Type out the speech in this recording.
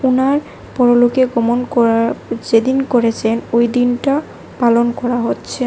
উনার পরলোকে গমন করার যে দিন করেছেন ওই দিনটা পালন করা হচ্ছে।